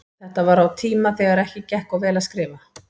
Þetta var á tíma þegar ekki gekk of vel að skrifa.